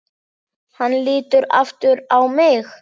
Hann lítur aftur á mig.